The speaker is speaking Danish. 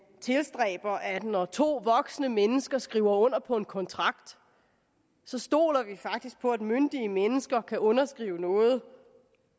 tilstræber at når to voksne mennesker skriver under på en kontrakt så stoler vi faktisk på at myndige mennesker der kan underskrive noget